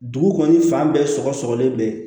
Dugu kɔni fan bɛɛ sɔgɔ sɔgɔlen bɛ